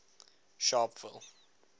sharpeville